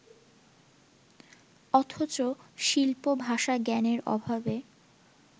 অথচ শিল্প-ভাষা-জ্ঞানের অভাবে